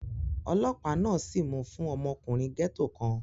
Ọlọ́pàá náà sìí mú fún ọmọkùnrin gẹ́ẹ́tò kan